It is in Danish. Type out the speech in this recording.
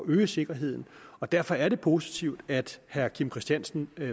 øge sikkerheden og derfor er det positivt at herre kim christiansen